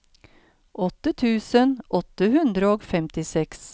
åtte tusen åtte hundre og femtiseks